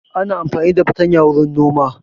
Ana amfani da fartanya wurin nima